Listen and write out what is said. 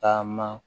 Taama